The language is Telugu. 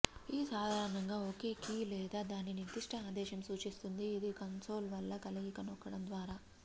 ఈ సాధారణంగా ఒకే కీ లేదా దాని నిర్దిష్ట ఆదేశం సూచిస్తుంది ఇది కన్సోల్ వల్ల కలయిక నొక్కడం ద్వారా